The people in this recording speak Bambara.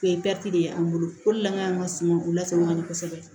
O ye de ye an bolo o de la an ka suma u lasɔrɔ ka ɲɛ kosɛbɛ